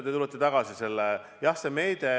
Te tulete tagasi selle.